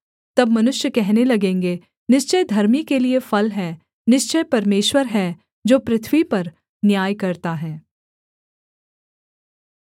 तब मनुष्य कहने लगेंगे निश्चय धर्मी के लिये फल है निश्चय परमेश्वर है जो पृथ्वी पर न्याय करता है